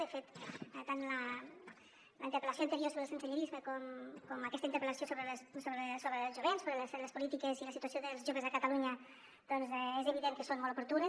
de fet tant la interpel·lació anterior sobre el sensellarisme com aquesta interpel·lació sobre el jovent sobre les polítiques i la situació dels joves a catalunya doncs és evident que són molt oportunes